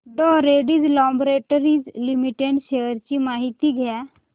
डॉ Reddy's laboratories limited shares ची माहिती द्या